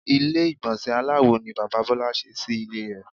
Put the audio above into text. Ilé ìgbònsè aláwo ni Bàbá Bólá se sí Ilé re